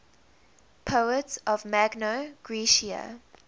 poets of magna graecia